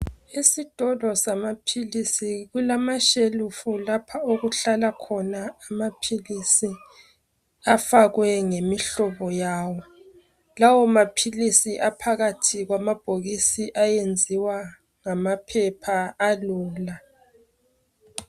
Isikolo zamaphilisi kulamashelufu lapha okuhlala khona amaphilisi, afakwe ngemihlobo yawo. Lawo maphilisi aphakqthi kwamabhokisi ayenziwa ngamaphepha alula.